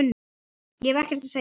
Ég hef ekkert að segja.